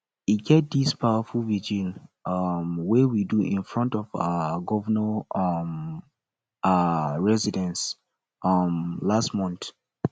e get dis powerful vigil um wey we do in front of our governor um um residence um last month